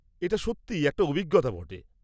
-এটা সত্যি একটা অভিজ্ঞতা বটে।